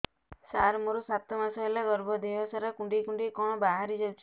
ସାର ମୋର ସାତ ମାସ ହେଲା ଗର୍ଭ ଦେହ ସାରା କୁଂଡେଇ କୁଂଡେଇ କଣ ବାହାରି ଯାଉଛି